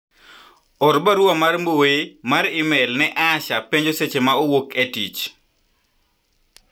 or barua mar mbui mar email ne Asha penjo seche ma owuoke tich